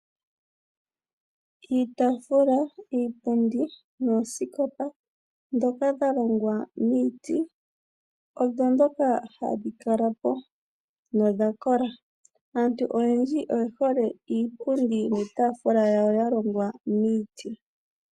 Iitaafula, iipundi noosikopa dhoka dhalongwa miiti odho dhoka hadhi kala po dhakola. Aantu oyendji oye hole iipundi niitaafula yawo yalongwa miiti.